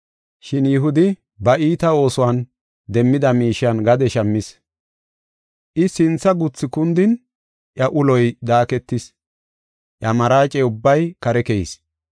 Shin Yihudi ba iita oosuwan demmida miishen gade shammis. I sintha guthu kundin, iya uloy daaketis; iya maraace ubbay kare keyis.